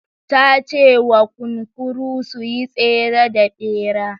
Ta ce wa kunkuru su yi tsere da bera.